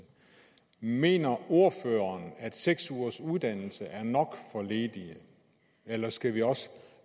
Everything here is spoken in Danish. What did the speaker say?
mener ordføreren at seks ugers uddannelse er nok for ledige eller skal vi også